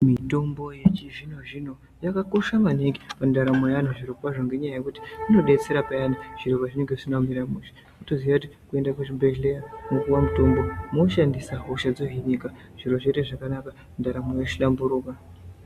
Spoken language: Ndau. Mitombo yechizvino zvino yakakosha maningi mundaramo yeantu zvirokwazvo ngenyaya yekuti inodetsera payani zviro pazvinenge zvisina kumira mushe wotoziya kuti kuenda kuzvibhedhleya mwopuwa mutombo mwoshandisa hosha dzohinika zviro zvoite zvakanaka ndaramo yohlamburuka.